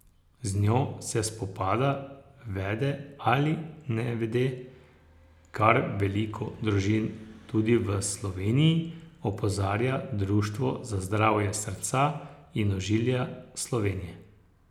Z njo se spopada, vede ali nevede, kar veliko družin tudi v Sloveniji, opozarja Društvo za zdravje srca in ožilja Slovenije.